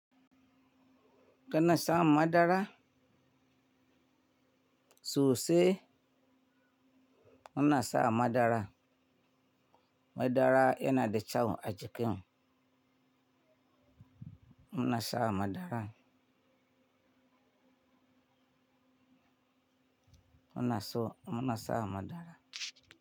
Kana san madara? Sose inasa madara madara yana da kyau a jikinmu. Mu na sa madara. Mu na so mu na sa madara.